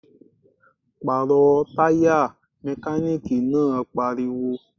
Pàrọ̀ Taya! Mekaniki náà pariwo